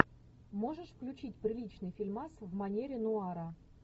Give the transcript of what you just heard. можешь включить приличный фильмас в манере нуара